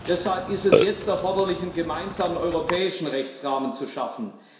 Deshalb ist es jetzt erforderlich, einen gemeinsamen europäischen Rechtsrahmen zu schaffen.